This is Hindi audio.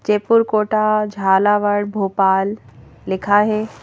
जयपुर कोटा झालावड़ भोपाल लिखा है।